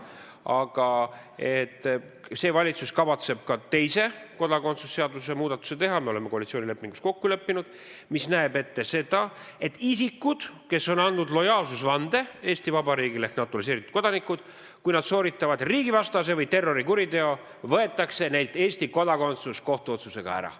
Aga see valitsus kavatseb teha ka teise kodakondsuse seaduse muudatuse – me oleme koalitsioonilepingus nii kokku leppinud –, mis näeb ette seda, et kui isikud, kes on andnud lojaalsusvande Eesti Vabariigile ehk on naturaliseeritud kodanikud, sooritavad riigivastase või terrorikuriteo, võetakse neilt Eesti kodakondsus kohtuotsusega ära.